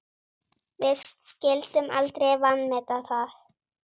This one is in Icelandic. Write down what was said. Við skyldum aldrei vanmeta það.